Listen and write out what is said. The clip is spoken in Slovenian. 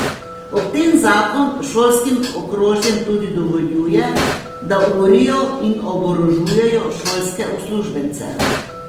Ob tem zakon šolskim okrožjem tudi dovoljuje, da urijo in oborožujejo šolske uslužbence.